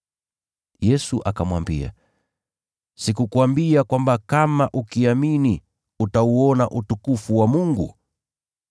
Yesu akamwambia, “Sikukuambia kwamba kama ukiamini utauona utukufu wa Mungu?”